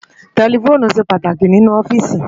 Tẹlifoonu ṣé pàtáki ninú òfìsí